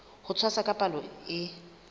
ho tshwasa ka palo e